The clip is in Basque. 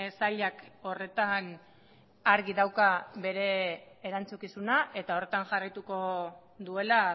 sailak horretan argi dauka bere erantzukizuna eta horretan jarraituko duela